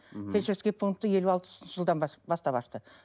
фельдшерский пунктті елу алпысыншы жылдан бастап ашты